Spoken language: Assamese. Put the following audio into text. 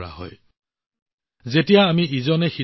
এক ভাৰতশ্ৰেষ্ঠ ভাৰতৰ আত্মাই আমাৰ দেশক শক্তি প্ৰদান কৰে